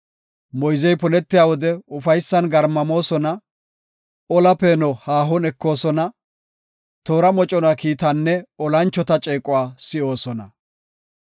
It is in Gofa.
Moyzey punetiya wode ufaysan garmamoosona; ola peeno haahon ekoosona; toora mocona kiitaanne olanchota ceequwa si7oosona.